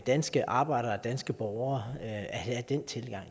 danske arbejdere og danske borgere at have den tilgang